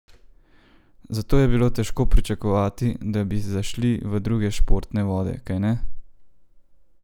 Zato je bilo težko pričakovati, da bi zašli v druge športne vode, kajne?